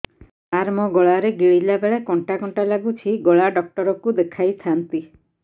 ସାର ମୋ ଗଳା ରେ ଗିଳିଲା ବେଲେ କଣ୍ଟା କଣ୍ଟା ଲାଗୁଛି ଗଳା ଡକ୍ଟର କୁ ଦେଖାଇ ଥାନ୍ତି